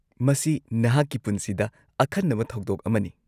-ꯃꯁꯤ ꯅꯍꯥꯛꯀꯤ ꯄꯨꯟꯁꯤꯗ ꯑꯈꯟꯅꯕ ꯊꯧꯗꯣꯛ ꯑꯃꯅꯤ ꯫